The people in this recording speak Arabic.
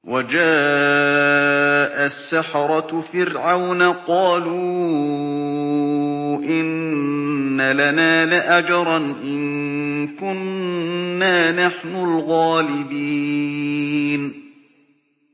وَجَاءَ السَّحَرَةُ فِرْعَوْنَ قَالُوا إِنَّ لَنَا لَأَجْرًا إِن كُنَّا نَحْنُ الْغَالِبِينَ